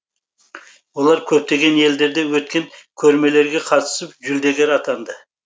олар көптеген елдерде өткен көрмелерге қатысып жүлдегер атанды